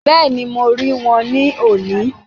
Bẹ́ẹ̀ni ,mo rí wọn ní òní